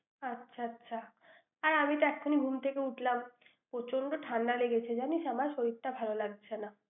আচ্ছা আচ্ছা। আর আমি তো এখনই ঘুম থেকে উঠলাম। প্রচন্ড ঠান্ডা লেগেছে জানিস আমার, শরীরটা ভাল লাগছে না।